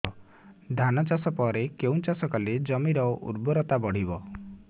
ଧାନ ଚାଷ ପରେ କେଉଁ ଚାଷ କଲେ ଜମିର ଉର୍ବରତା ବଢିବ